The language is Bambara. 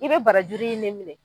I bɛ barajuru in de minɛ.